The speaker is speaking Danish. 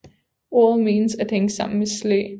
Ordet menes at hænge sammen med Slæ